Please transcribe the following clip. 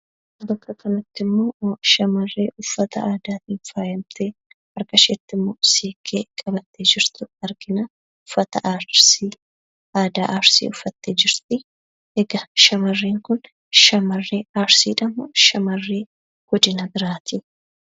Bakka kanatti ammoo shamarree uffata aadaatiin faayamtee harka isheetti ammoo siinqee qabatte jirtu argina. Uffata aadaa Arsii uffattee jirti. Egaa shamarrren kun shamarre Arsiidha moo shamarree godina biraati?